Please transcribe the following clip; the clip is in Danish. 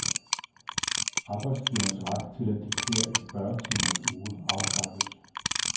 Arbejdsgivernes ret til at diktere en fyrre timers uge afskaffes.